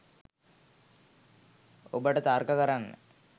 ඔබට තර්ක කරන්න